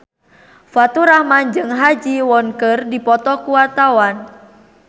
Faturrahman jeung Ha Ji Won keur dipoto ku wartawan